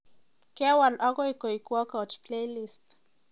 Kewal akoi koek Workout playlist